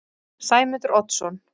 Sæmundur Oddsson